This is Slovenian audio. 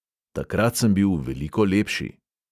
Takrat sem bil veliko lepši.